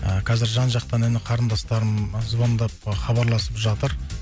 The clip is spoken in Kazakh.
ы қазір жан жақтан іні қарындастарым звондап хабарласып жатыр